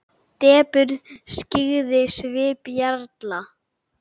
Depurð skyggði svip jarla.